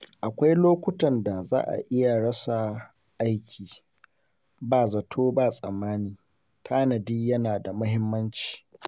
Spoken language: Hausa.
Akwai lokutan da za a iya rasa aiki ba zato ba tsammani, tanadi yana da muhimmanci.